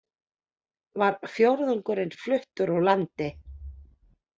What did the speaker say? Var fjórðungurinn fluttur úr landi